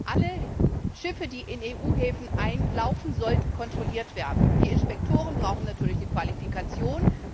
Alle Schiffe, die in EU Häfen einlaufen, sollten kontrolliert werden. Die Inspektoren brauchen natürlich eine Qualifikation.